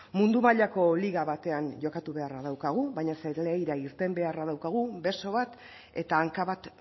mundu mailako liga batean jokatu beharra daukagu baina zelaira irten beharra daukagu beso bat eta hanka bat